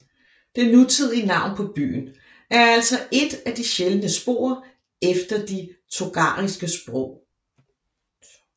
Det nutidige navn på byen er altså ét af de sjældne spor efter de tokhariske sprog